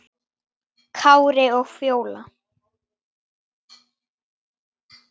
Kári og Fjóla.